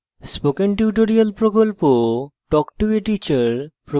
spoken tutorial প্রকল্প talk to a teacher প্রকল্পের অংশবিশেষ